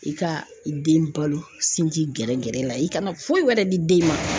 I ka i den balo sinji gɛrɛ gɛrɛ la i kana foyi wɛrɛ di den ma.